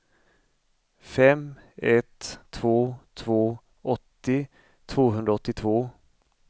fem ett två två åttio tvåhundraåttiotvå